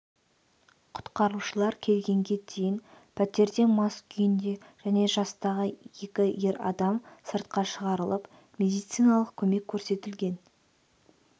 құтқарушылар келгенге дейін пәтерден мас күйінде және жастағы екі ер адам сыртқа шығарылып медициналық көмек көрсетілген